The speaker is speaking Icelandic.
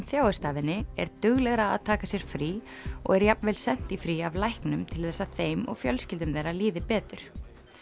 þjáist af henni er duglegra að taka sér frí og er jafnvel sent í frí af læknum til þess að þeim og fjölskyldum þeirra líði betur